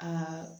Aa